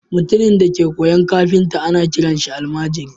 Mutumin da yake koyon kafinta ana kiransa almajiri